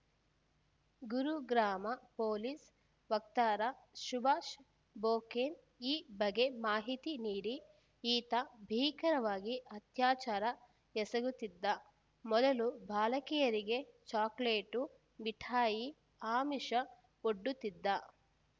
Gurugram police ವಕ್ತಾರ ಸುಭಾಷ್‌ ಬೊಕೇನ್‌ ಈ ಬಗ್ಗೆ ಮಾಹಿತಿ ನೀಡಿ ಈತ ಭೀಕರವಾಗಿ ಅತ್ಯಾಚಾರ ಎಸಗುತ್ತಿದ್ದ ಮೊದಲು ಬಾಲಕಿಯರಿಗೆ ಚಾಕೊಲೇಟು ಮಿಠಾಯಿಯ ಆಮಿಷ ಒಡ್ಡುತ್ತಿದ್ದ